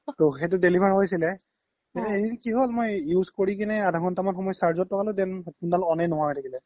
টো সেইটো deliver হৈছিলে এদিন কি হ্'ল মই use কৰি কিনে আধা ঘন্তা মান সময় charge ত লগালো then headphone দাল on য়ে নুহুৱা হৈ থাকিলে